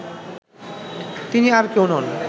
তিনি আর কেউ নন